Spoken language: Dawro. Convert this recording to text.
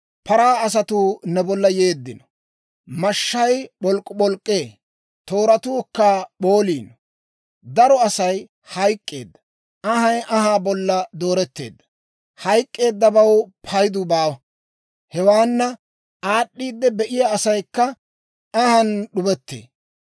Paraa asatuu ne bolla yeeddino; mashshay p'oolup'oolee; tooratuukka p'ooliino. Daro Asay hayk'k'eedda! Anhay anhaa bolla dooretteedda! Hayk'k'eeddabaw payduu baawa! Hewaanna aad'd'iidde biyaa asaykka anhaan d'ubettee.